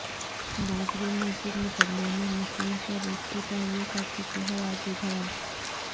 بابری مسجد مقدمہ میں مسلم فریق کی پیروی کرچکے ہیں راجیو دھون